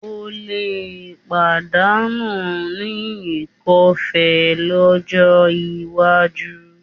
O lè padà ní ikọ́ọfe lọ́jọ́ iwájú